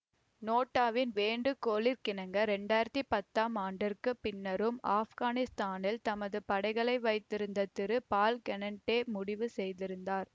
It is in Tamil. நேட்டோவின் வேண்டுகோளிற்கிணங்க இரண்டாயிரத்தி பத்தாம் ஆண்டிற்கு பின்னரும் ஆப்கானிஸ்தானில் தமது படைகளை வைத்திருக்க திரு பால்கெனட்டே முடிவு செய்திருந்தார்